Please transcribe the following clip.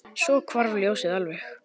Svo hvarf ljósið alveg.